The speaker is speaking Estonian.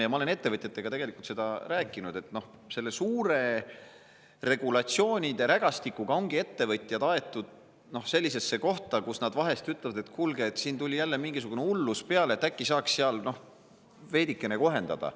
Ma olen ettevõtjatega sellest rääkinud, et selle suure regulatsioonide rägastikuga ongi ettevõtjad aetud, et nad vahest ütlevad, et kuulge, siin tuli jälle mingisugune hullus peale, äkki saaks veidikene kohendada.